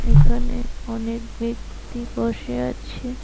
এখানে অনেক ব্যক্তি বসে আছে।